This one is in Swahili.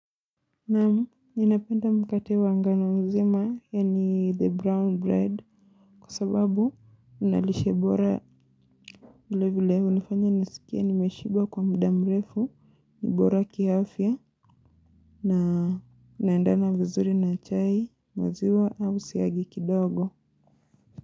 Namu, ninapenda mkate wa ngano mzima yani the brown bread kwa sababu ina lishe bora vilevile unifanya nisikia nimeshiba kwa mudamrefu nibora kiafya na naendana vizuri na chai maziwa au siyagi kidogo.